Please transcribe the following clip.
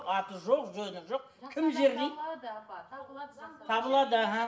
аты жоқ жөні жоқ кім жерлейді табылады аха